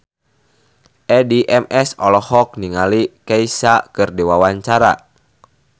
Addie MS olohok ningali Kesha keur diwawancara